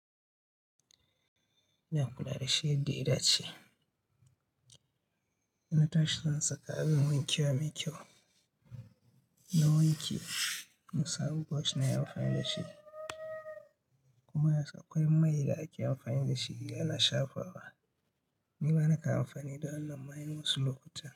Na kula da shi yadda ya dace, na tashi zan saka abin wanke mai kyau na wanke, na sabu burosh nayi amfani da shi kuma akwai mai da ake amfani da shi ana shafa wa. Ni bana amfani da wannan mai wasu lokuta.